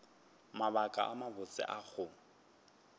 mabaka a mabotse a go